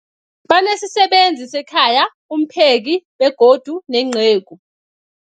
Banesisebenzi sekhaya, umpheki, begodu nenceku.